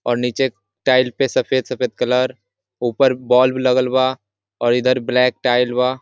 और नीचे टाइल पे सफेद- सफेद कलर ऊपर बल्ब लगल बा और इधर ब्लेक टाइल लगबा ।